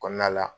Kɔnɔna la